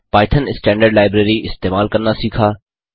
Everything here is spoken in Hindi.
पाइथन स्टैंडर्ड लाइब्रेरी इस्तेमाल करना सीखा